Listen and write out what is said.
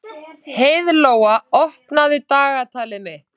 Heiðlóa, opnaðu dagatalið mitt.